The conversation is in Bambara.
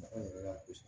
yɛrɛ la kojugu